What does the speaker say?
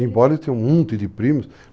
Embora eu tenha um monte de primos.